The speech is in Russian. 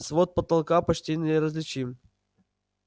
свод потолка почти неразличим